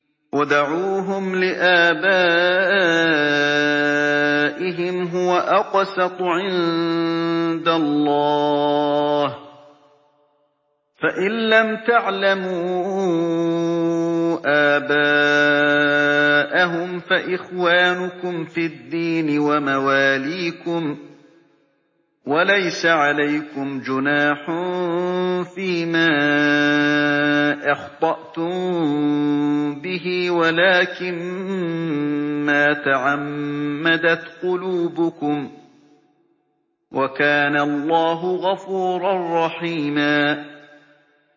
ادْعُوهُمْ لِآبَائِهِمْ هُوَ أَقْسَطُ عِندَ اللَّهِ ۚ فَإِن لَّمْ تَعْلَمُوا آبَاءَهُمْ فَإِخْوَانُكُمْ فِي الدِّينِ وَمَوَالِيكُمْ ۚ وَلَيْسَ عَلَيْكُمْ جُنَاحٌ فِيمَا أَخْطَأْتُم بِهِ وَلَٰكِن مَّا تَعَمَّدَتْ قُلُوبُكُمْ ۚ وَكَانَ اللَّهُ غَفُورًا رَّحِيمًا